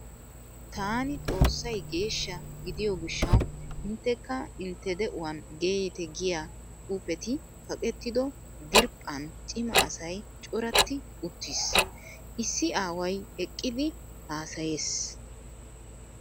Taani Xoossay geeshsha gidiyo gishshawu inttekka intte de"uwan geeyite giya xuufetee kaqetto diriiphphan cima asay coratti uttiis. Issi aaway eqqidi haasayees.